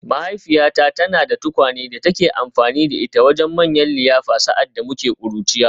Mahaifiyata tana da tukwane da take amfani da ita wajen manyan liyafa sa’ad da muke ƙuruciya